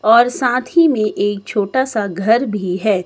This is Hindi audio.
और साथ ही मे एक छोटा सा घर भी है।